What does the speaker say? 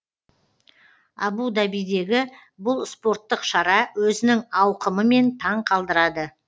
абу дабидегі бұл спорттық шара өзінің ауқымымен таң қалдырады